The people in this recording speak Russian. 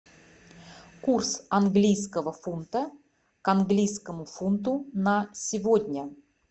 курс английского фунта к английскому фунту на сегодня